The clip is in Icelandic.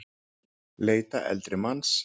Leita eldri manns